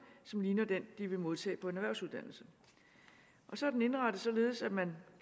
som ligner den de vil modtage på en erhvervsuddannelse så er den indrettet således at man